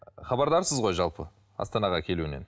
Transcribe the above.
ы хабардарсыз ғой жалпы астанаға келуінен